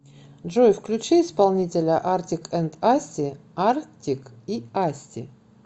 джой включи исполнителя артик энд асти артик и асти